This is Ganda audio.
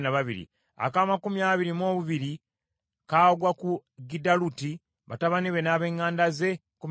ak’amakumi abiri mu busatu, kagwa ku Makaziyoosi, batabani be n’ab’eŋŋanda ze, kkumi na babiri;